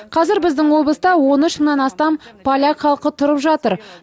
қазір біздің облыста он үш мыңнан астам поляк халқы тұрып жатыр